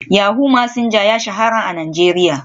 Yahoo Messenger ya shahara a Najeriya.